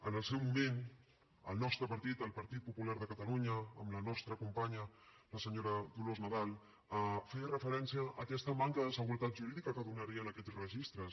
en el seu moment el nostre partit el partit popular de catalunya amb la nostra companya senyora dolors nadal feia referència a aquesta manca de seguretat jurídica que donarien aquests registres